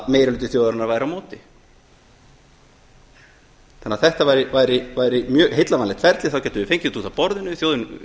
meiri hluti þjóðarinnar væri á móti þetta væri því mjög heillavænlegt ferli þá gætum við fengið þetta út af borðinu þjóðin